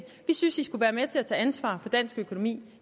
vi synes i skulle være med til at tage ansvar for dansk økonomi